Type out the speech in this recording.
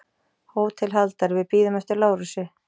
HÓTELHALDARI: Við bíðum eftir Lárusi.